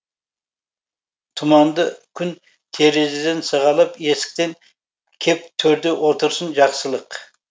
тұманды күн терезеден сығалап есіктен кеп төрде отырсын жақсылық